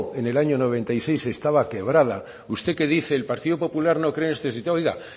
en el año mil novecientos noventa y seis estaba quebrada usted que dice que el partido popular no